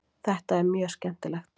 Þetta er mjög skemmtilegt.